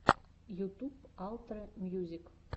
ютуб алтрэ мьюзик